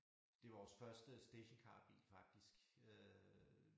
Det vores første stationcarbil faktisk øh